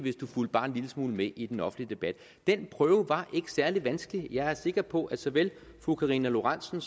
fulgte bare en lille smule med i den offentlige debat den prøve var ikke særlig vanskelig jeg er sikker på at såvel fru karina lorentzen